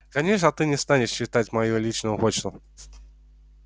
конечно ты не станешь читать мою личную почту